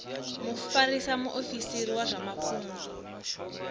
mufarisa muofisiri wa zwa mafhungo